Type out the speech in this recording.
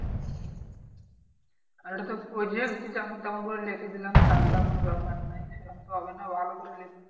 আর এটা তো project যে যেমন তেমন করে লিখে দিলাম থাগ গা কোনো ব্যাপার নাই। সেরম তো হবে না ভালো করে লিখতে